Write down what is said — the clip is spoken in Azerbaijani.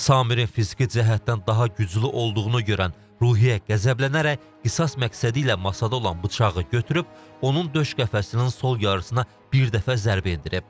Samirin fiziki cəhətdən daha güclü olduğunu görən Ruhiyyə qəzəblənərək qisas məqsədi ilə masada olan bıçağı götürüb, onun döş qəfəsinin sol yarısına bir dəfə zərbə endirib.